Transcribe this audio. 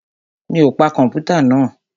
Mi ò pa kọ̀mpútà náà?